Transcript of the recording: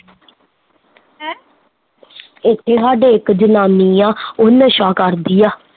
ਇੱਥੇ ਸਾਡੇ ਇੱਕ ਜਨਾਨੀ ਆ ਉਹ ਨਸ਼ਾ ਕਰਦੀ ਆ